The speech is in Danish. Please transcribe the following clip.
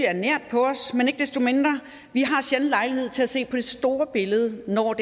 er nær på os vi har sjældent lejlighed til at se på det store billede når